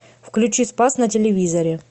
включи спас на телевизоре